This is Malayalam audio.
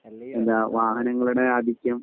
എന്താ വാഹനങ്ങളുടെ ആധിക്യം